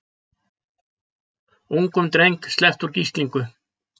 Ungum dreng sleppt úr gíslingu